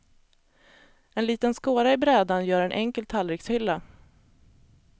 En liten skåra i brädan gör en enkel tallrikshylla.